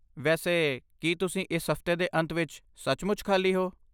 ਵੈਸੇ, ਕੀ ਤੁਸੀਂ ਇਸ ਹਫਤੇ ਦੇ ਅੰਤ ਵਿੱਚ ਸੱਚਮੁੱਚ ਖਾਲੀ ਹੋ?